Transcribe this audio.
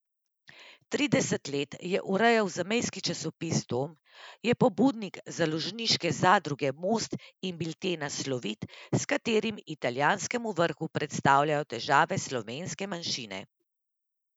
Trideset let je urejal zamejski časopis Dom, je pobudnik založniške zadruge Most in biltena Slovit, s katerim italijanskemu vrhu predstavljajo težave slovenske manjšine.